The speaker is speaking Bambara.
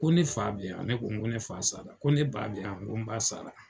Ko ne fa bɛ ye wa ne ko ko ne fa sara ko ne ba bɛ ye wa n ko n ba sara.